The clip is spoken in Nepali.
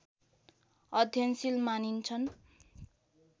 अध्ययनशील मानिन्छन्